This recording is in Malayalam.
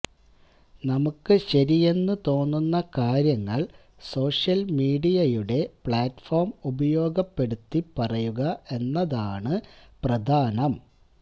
നമുക്ക് ശരിയെന്ന് തോന്നുന്ന കാര്യങ്ങൾ സോഷ്യൽ മീഡിയയുടെ പ്ലാറ്റ്ഫോം ഉപയോഗപ്പെടുത്തി പറയുക എന്നതാണ് പ്രധാനം